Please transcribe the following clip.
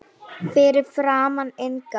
Fyrir framan inngang